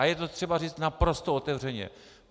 A je to třeba říct naprosto otevřeně.